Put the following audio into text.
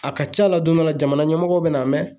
A ka ca la don dɔ la jamana ɲɛmɔgɔw bɛ na mɛn